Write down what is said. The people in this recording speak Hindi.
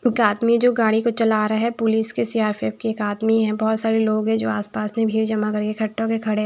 एक आदमी जो गाड़ी को चला रहा है पुलिस के सी_आर_पी_एफ के एक आदमी है बहोत सारे लोग हैं जो आसपास में भीड़ जमा करके इकट्ठा होके खड़े हैं।